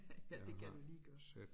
Ja det kan du lige gøre